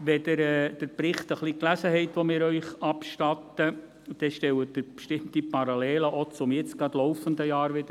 Wenn Sie den Bericht, den wir Ihnen abstatten, ein wenig gelesen haben, sind bestimmte Parallelen, auch zum gerade laufenden Jahr, festzustellen.